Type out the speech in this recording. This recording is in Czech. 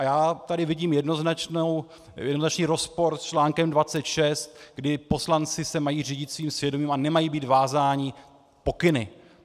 A já tady vidím jednoznačný rozpor s článkem 26, kdy poslanci se mají řídit svým svědomím a nemají být vázáni pokyny.